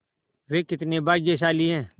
वे कितने भाग्यशाली हैं